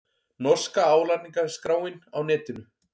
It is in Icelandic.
Norska álagningarskráin á netinu